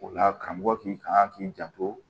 O la karamɔgɔ k'i kan k'i janto